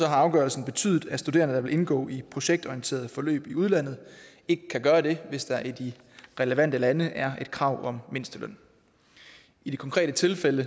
afgørelsen betydet at studerende der vil indgå i projektorienterede forløb i udlandet ikke kan gøre det hvis der i de relevante lande er et krav om mindsteløn i det konkrete tilfælde